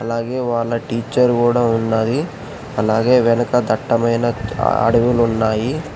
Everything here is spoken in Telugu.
అలాగే వాళ్ళ టీచర్ కూడా ఉన్నది అలాగే వెనక దట్టమైన అడవిలు ఉన్నాయి.